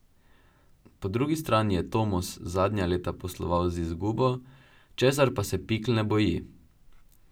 Po drugi strani je Tomos zadnja leta posloval z izgubo, česar pa se Pikl ne boji.